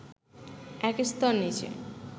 এক স্তর নিচে